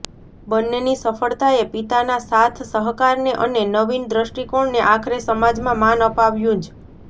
બન્નેની સફળતાએ પિતાના સાથસહકારને અને નવીન દ્રષ્ટિકોણને આખરે સમાજમાં માન અપાવ્યુંજ